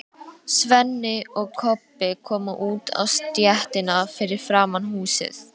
Svenni og Kobbi komu út á stéttina fyrir framan húsið.